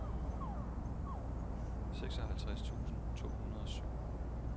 seksoghalvtreds tusind to hundrede og syv